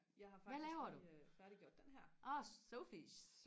hvad laver du åh Sophies